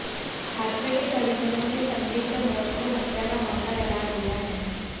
छात्र के परिजनों ने संदिग्ध मौत को हत्या का मामला करार दिया है